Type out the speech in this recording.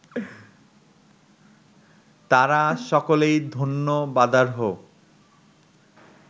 তাঁরা সকলেই ধন্যবাদার্হ